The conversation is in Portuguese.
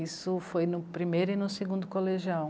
Isso foi no primeiro e no segundo colegial.